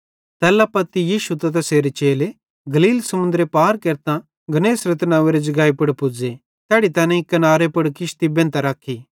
तैल्ला पत्ती यीशु त तैसेरे चेले गलील समुन्दर पार केरतां गन्नेसरत नंव्वेरे जगाई पुड़ पुज़्ज़े तैड़ी तैनेईं किनारे पुड़ किश्ती बेंधतां रखी